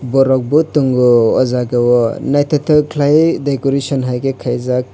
borok bo tango ojagao naitotok kelaiye decoration hai ke kalaijak.